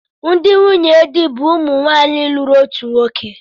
Ndị nwunye di bụ ụmụ nwanyị lụrụ otu nwoke